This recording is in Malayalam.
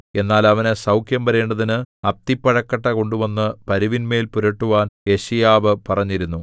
എന്നാൽ അവനു സൗഖ്യം വരേണ്ടതിന് അത്തിപ്പഴക്കട്ട കൊണ്ടുവന്നു പരുവിന്മേൽ പുരട്ടുവാൻ യെശയ്യാവ് പറഞ്ഞിരുന്നു